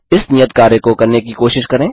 इस नियत कार्य को करने की कोशिश करें